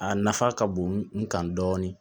A nafa ka bon n kan dɔɔnin